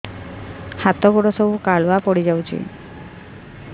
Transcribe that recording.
ହାତ ଗୋଡ ସବୁ କାଲୁଆ ପଡି ଯାଉଛି